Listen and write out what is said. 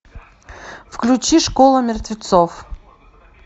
включи школа мертвецов